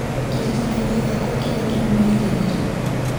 kĩririkania gĩakwa kĩrĩa kĩrũmĩrĩire nĩ rĩ